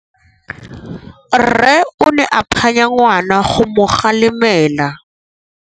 Rre o ne a phanya ngwana go mo galemela.